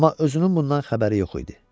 Amma özünün bundan xəbəri yox idi.